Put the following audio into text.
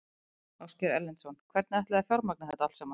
Ásgeir Erlendsson: Hvernig ætlið þið að fjármagna þetta allt saman?